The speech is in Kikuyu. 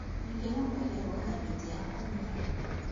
Angĩ mambagia gwetha mĩtĩ ya kũnyua